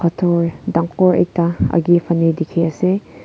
dur dangor ekta akae fanae dikhiase.